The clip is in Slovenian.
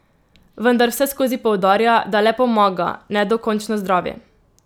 Vendar vseskozi poudarja, da le pomaga, ne dokončno zdravi.